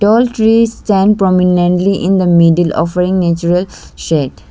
tall trees stand prominently in the middle of very natural shed.